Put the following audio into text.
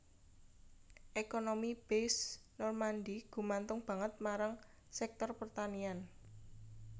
Ekonomi Basse Normandie gumantung banget marang sektor pertanian